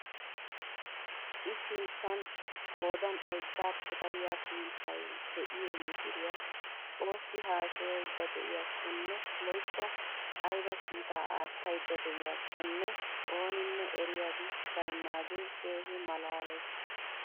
I sinttan qoodan oyddaappe dariyaa pmppay de'iyoo mishiriyaa oossi haasayaydda de'iyakonne woykko ayba kiitaa aattayda de'iyookonne ooninne eriyabi baynnaage keehi malaales!